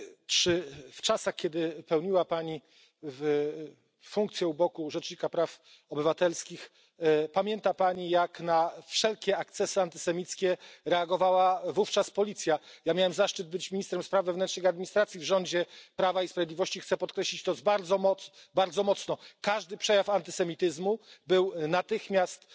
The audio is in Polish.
Czy w czasach, kiedy pełniła Pani funkcję u boku rzecznika praw obywatelskich, pamięta Pani, jak na wszelkie ekscesy antysemickie reagowała policja? Ja miałem zaszczyt być ministrem spraw wewnętrznych i administracji w rządzie Prawa i Sprawiedliwości i chcę podkreślić bardzo mocno, że każdy przejaw antysemityzmu spotykał się z natychmiastową